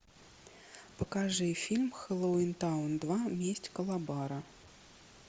покажи фильм хэллоуинтаун два месть калабара